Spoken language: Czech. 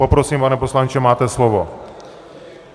Poprosím, pane poslanče, máte slovo.